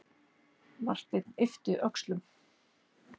Marteinn yppti öxlum.